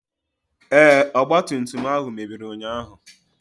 Ee, ọgba tum tum ahụ mebiri ụnyaahụ.